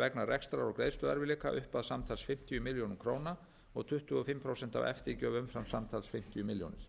vegna rekstrar og greiðsluerfiðleika upp að samtals fimmtíu milljónir króna og tuttugu og fimm prósent af eftirgjöf umfram samtals fimmtíu milljónir